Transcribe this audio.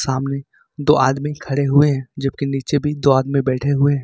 सामने दो आदमी खड़े हुए हैं जब की नीचे भी तो आदमी बैठे हुए।